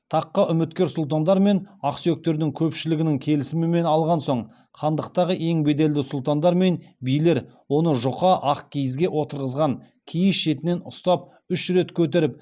таққа үміткер сұлтандар мен ақсүйектердің көпшілігінің келісімін алған соң хандықтағы ең беделді сұлтандар мен билер оны жұқа ақ киізге отырғызған киіз шетінен ұстап үш рет көтеріп